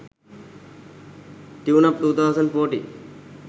tuneup 2014